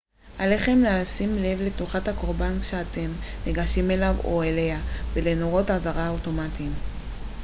עליכם לשים לב לתנוחת הקורבן כשאתם ניגשים אליו או אליה ולנורות אזהרה אוטומטיים